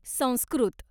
Sanskrit